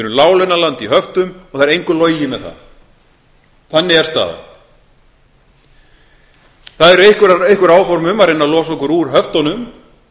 láglaunaland í höftum og það er engu logið með það þannig er staðan það eru einhver áform um að reyna að losa okkur úr höftunum